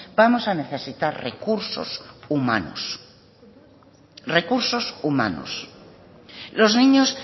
vamos a necesitar recursos humanos los niños